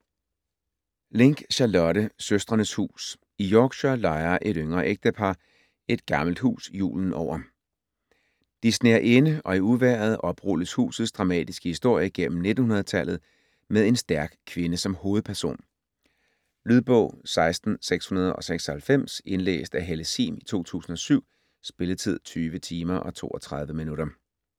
Link, Charlotte: Søstrenes hus I Yorkshire lejer et yngre ægtepar et gammelt hus julen over. De sner inde, og i uvejret oprulles husets dramatiske historie gennem 1900-tallet , med en stærk kvinde som hovedperson. Lydbog 16696 Indlæst af Helle Sihm, 2007. Spilletid: 20 timer, 32 minutter.